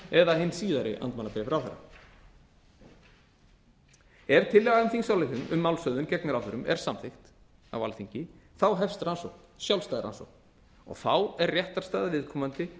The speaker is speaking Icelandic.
eða hin síðari andmælabréf ráðherra ef tillaga til þingsályktunar um málshöfðun gegn ráðherrum er samþykkt á alþingi hefst sjálfstæð rannsókn og þá er réttarstaða viðkomandi